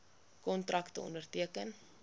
kontrakte onderteken